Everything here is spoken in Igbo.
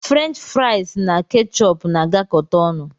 Frenchi friasi na kechupu na-agakọta ọnụ